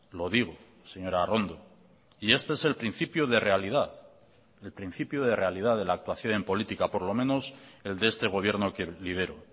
lo digo señora arrondo y este es el principio de realidad el principio de realidad de la actuación en política por lo menos el de este gobierno que lidero